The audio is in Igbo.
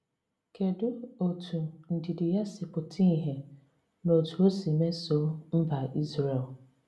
Kedụ etú ndidi ya si pụta ìhè n’otú o si mesoo mba Izrel?